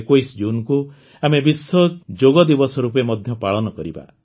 ୨୧ ଜୁନକୁ ଆମେ ବିଶ୍ୱ ଯୋଗଦିବସ ରୂପେ ମଧ୍ୟ ପାଳନ କରିବା